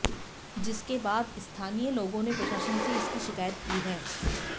जिसके बाद स्ताहनीय लोगों ने प्रशासन से इसकी शिकायत की है